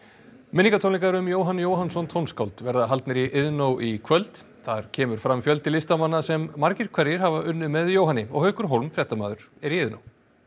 minningartónleikar um Jóhann Jóhannsson tónskáld verða haldnir í Iðnó í kvöld þar kemur fram fjöldi listamanna sem margir hverjir hafa unnið með Jóhanni haukur fréttamaður er í Iðnó